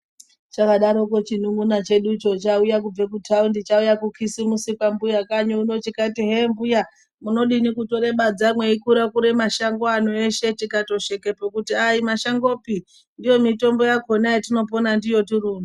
Chakadaro chedu chimunun'una cheducho chauya kubva kutaundi chauya kukisimusi kwambuya kanyi unono chikati mbuya munodini kutore badza mweikura kura mashango ano eshe tikatosheka kuti ayimashangopi ndiyo mitombo yetinopona ndiyo tiri uno.